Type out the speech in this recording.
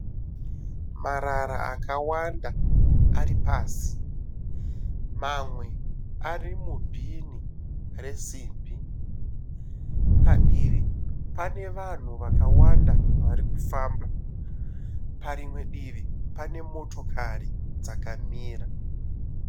Marara akawanda ari pasi. Mamwe ari mu bhini resimbi , padivi pane vanhu vakawanda varikufamba parimwe divi pane motokari dzakamira .